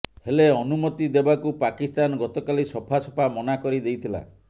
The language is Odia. ହେଲେ ଅନୁମତି ଦେବାକୁ ପାକିସ୍ତାନ ଗତକାଲି ସଫା ସଫା ମନା କରିଦେଇଥିଲା